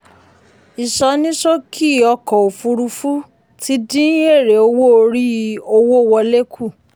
ìsọníṣókì ọkọ̀ òfurufú ti dín èrè owó orí owó wọlé kù.